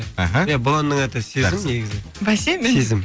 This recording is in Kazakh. іхі иә бұл әннің аты сезім негізі бәсе сезім